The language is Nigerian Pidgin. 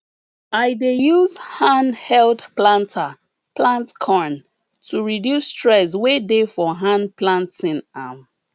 i dey use hand held planter plant corn to reduce stress wey dey for hand planting am